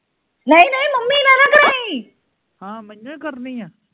ਹਾਂ ਮੇਇਓ ਕਰਨੀ ਆ